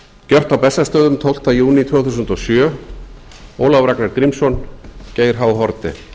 gjört á bessastöðum tólfta júní tvö þúsund og sjö ólafur ragnar grímsson geir h haarde